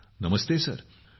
गौरव नमस्ते सर ।